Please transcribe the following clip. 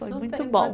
Foi muito bom.